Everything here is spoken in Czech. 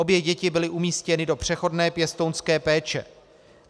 Obě děti byly umístěny do přechodné pěstounské péče.